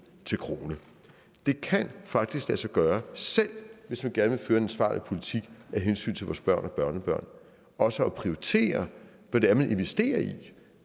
til krone det kan faktisk lade sig gøre selv hvis man gerne vil ansvarlig politik af hensyn til vores børn og børnebørn også at prioritere hvad det er man investerer i